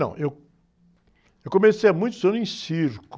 Não, eu, eu comecei há muitos anos em circo.